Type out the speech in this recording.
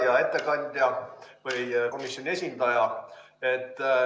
Hea ettekandja, komisjoni esindaja!